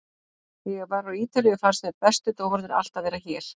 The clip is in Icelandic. Þegar ég var á Ítalíu fannst mér bestu dómararnir alltaf vera hér.